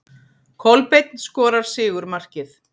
Kolbeinn skorar sigurmarkið.